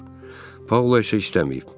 Paula isə istəməyib.